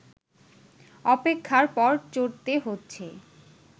অপেক্ষার পর চড়তে হচ্ছে